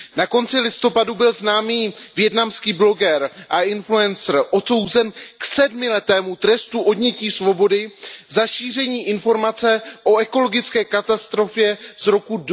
Na konci listopadu byl známý vietnamský bloger a influencer odsouzen k sedmiletému trestu odnětí svobody za šíření informace o ekologické katastrofě z roku